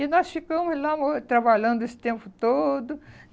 E nós ficamos lá mo trabalhando esse tempo todo.